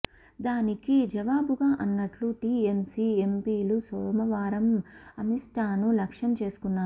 దానికి జవాబుగా అన్నట్లు టీఎంసీ ఎంపీలు సోమవారం అమిత్షాను లక్ష్యం చేసుకున్నారు